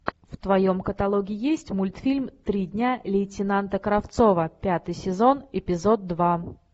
в твоем каталоге есть мультфильм три дня лейтенанта кравцова пятый сезон эпизод два